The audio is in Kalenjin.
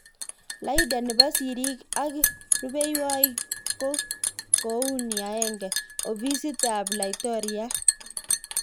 Laida. nepo siriik ak rupeihwokik ko kouni;1.Ofisit ap Laitoriat.